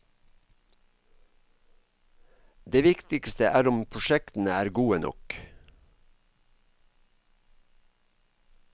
Det viktigste er om prosjektene er gode nok.